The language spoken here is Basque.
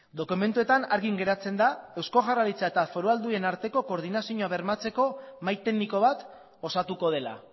dokumentuetan argi geratzen da eusko jaurlaritza eta foru aldundien artean koordinazioa bermatzeko mahai tekniko bat osatuko dela